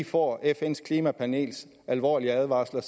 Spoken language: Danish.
får fns klimapanels alvorlige advarsler